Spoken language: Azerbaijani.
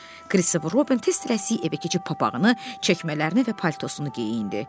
Kristofer Robin tez-tələsik evə keçib papağını, çəkmələrini və paltosunu geyindi.